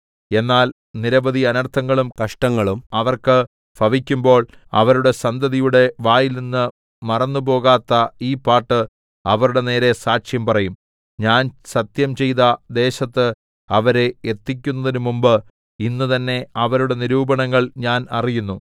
എന്നാൽ നിരവധി അനർത്ഥങ്ങളും കഷ്ടങ്ങളും അവർക്ക് ഭവിക്കുമ്പോൾ അവരുടെ സന്തതിയുടെ വായിൽനിന്ന് മറന്നുപോകാത്ത ഈ പാട്ട് അവരുടെ നേരെ സാക്ഷ്യം പറയും ഞാൻ സത്യംചെയ്ത ദേശത്ത് അവരെ എത്തിക്കുന്നതിന് മുമ്പ് ഇന്ന് തന്നെ അവരുടെ നിരൂപണങ്ങൾ ഞാൻ അറിയുന്നു